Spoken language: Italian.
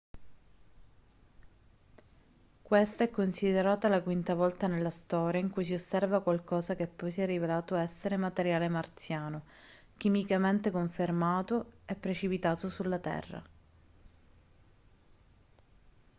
questa è considerata la quinta volta nella storia in cui si osserva qualcosa che poi si è rivelato essere materiale marziano chimicamente confermato e precipitato sulla terra